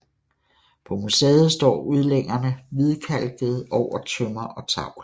På museet står udlængerne hvidkalkede over tømmer og tavl